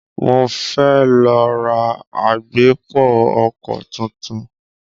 Mo fẹ́ lọ ra agbépo-ọkọ̀ tuntun.